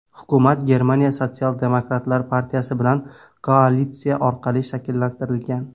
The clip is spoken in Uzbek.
Hukumat Germaniya sotsial-demokratlar partiyasi bilan koalitsiya orqali shakllantirilgan.